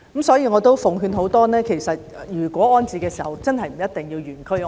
所以我想奉勸市民，其實不一定要原區安置。